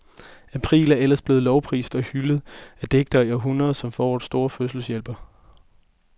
April er ellers blevet lovprist og hyldet af digtere i århundreder, som forårets store fødselshjælper.